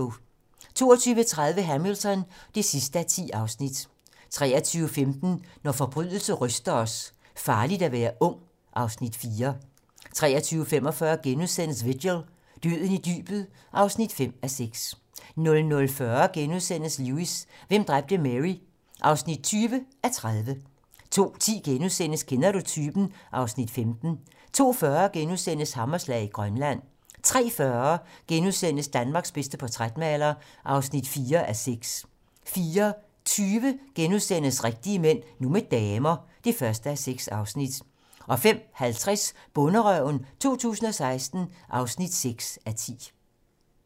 22:30: Hamilton (10:10) 23:15: Når forbrydelse ryster os: Farligt at være ung (Afs. 4) 23:45: Vigil - Døden i dybet (5:6)* 00:40: Lewis: Hvem dræbte Mary? (20:30)* 02:10: Kender du typen? (Afs. 15)* 02:40: Hammerslag i Grønland * 03:40: Danmarks bedste portrætmaler (4:6)* 04:20: Rigtige mænd - nu med damer (1:6)* 05:50: Bonderøven 2016 (6:10)*